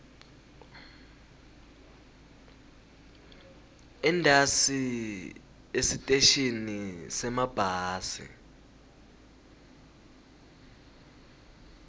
entasi esiteshini semabhasi